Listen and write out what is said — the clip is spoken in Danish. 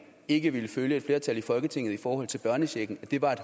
ikke ville følge et flertal i folketinget i forhold til børnechecken at det var